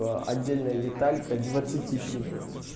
а отдельная деталька двадцати пиновым